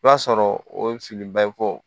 I b'a sɔrɔ o filibaa ye fɔ